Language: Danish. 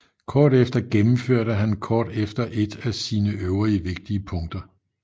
Kort efter gennemførte han kort efter et af sine øvrige vigtige punkter